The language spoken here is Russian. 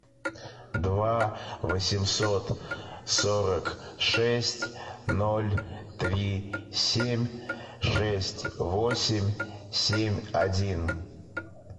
два восемьсот сорок шесть ноль три семь шесть восемь семь один